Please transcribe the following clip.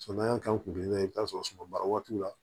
Samara kan kun bɛ yen i bɛ t'a sɔrɔ sumabaara waati la